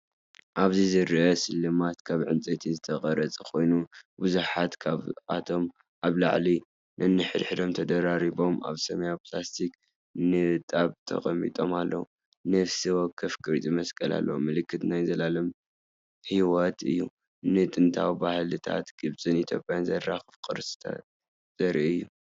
ኣብዚ ዝርአ ስልማት ካብ ዕንጨይቲ ዝተቐርጸ ኮይኑ፡ ብዙሓት ካብኣቶም ኣብ ልዕሊ ነንሕድሕዶም ተደራሪቦም ኣብ ሰማያዊ ፕላስቲክ ንጣብ ተቐሚጦም ኣለዉ። ነፍሲ ወከፍ ቅርጺ መስቀል ኣለዎ። ምልክት ናይ ዘለኣለም ህይወት እዩ። ንጥንታዊ ባህልታት ግብጽን ኢትዮጵያን ዘራኽቡ ቅርስታት ዘርኢ እዩ።